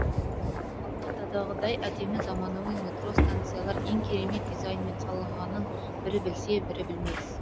алматыдағыдай әдемі заманауи метро станциялар ең керемет дизайнмен салынғанын бірі білсе бірі білмес